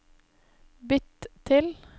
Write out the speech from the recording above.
bytt til